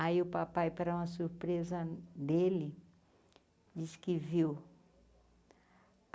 Aí o papai, para uma surpresa dele, disse que viu.